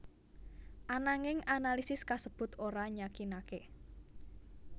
Ananging analisis kasebut ora nyakinaké